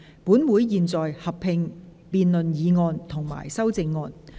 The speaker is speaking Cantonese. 本會現在合併辯論議案及修正案。